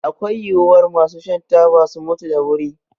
Akwai yiwuwar masu shan taba su mutu da wuri